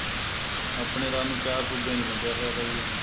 ਆਪਣੇ ਰਾਜ ਨੂੰ ਚਾਰ ਸੁਬਿਆਂ ਵਿੱਚ ਵੰਡਿਆ ਹੋਇਆ ਤਾ ਜੀ ਇਹਨੇ